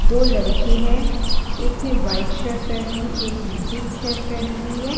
दो लड़के हैं एक ने व्हाइट शर्ट पहनी है एक ने पिंक शर्ट पहनी हुई है।